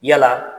Yala